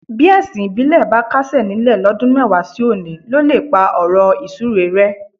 Bí ẹ̀sìn ìbílẹ̀ bá kásẹ̀ nílẹ̀ lọ́dún mẹ́wàá sí òní ló lè pá ọ̀rọ̀ ìsúre rẹ́.